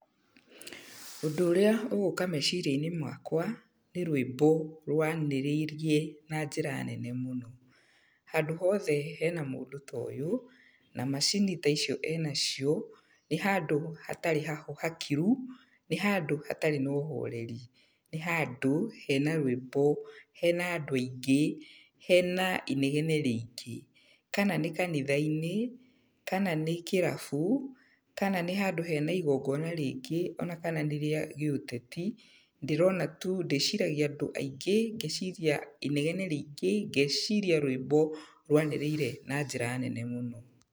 Ũndũ ũrĩa ũgũka meciria-inĩ makwa, nĩ rwĩmbo rwanĩrĩirie na njĩra nene mũno. Handũ hothe hena mũndũ ta ũyũ, na macini ta icio enacio, nĩ handũ hatarĩ hakiru, nĩ handũ hatarĩ na ũhoreri. Nĩ handũ, hena rwĩmbo, hena andũ aingĩ, hena inegene rĩingĩ. Kana nĩ kanitha-inĩ, kana nĩ kĩrabu, kana nĩ handũ hena igongona rĩngĩ, ona kana nĩ rĩa gĩũteti, ndĩrona tu ndĩciragia andũ aingĩ, ngeciria inegene rĩingĩ, ngeciria rwĩmbo rwanĩrĩire na njĩra nene mũno.